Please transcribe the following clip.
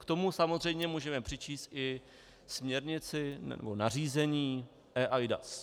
K tomu samozřejmě můžeme přičíst i směrnici nebo nařízení eIDAS.